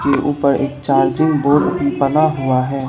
की ऊपर एक चार्जिंग बोर्ड भी बना हुआ हैं।